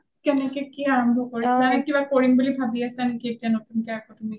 কেনে কে কি আৰম্ভ কৰিছা? কিবা আৰম্ভ কৰিম বুলি ভাবি আছা নেকি আকৈ নেকি তুমি ?